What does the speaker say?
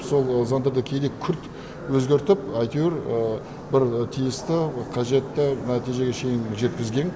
сол заңдарды кейде күрт өзгертіп әйтеуір бір тиісті қажетті нәтижеге шейін жеткізген